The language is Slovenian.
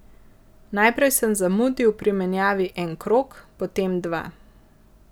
Najprej sem zamudil pri menjavi en krog, potem dva.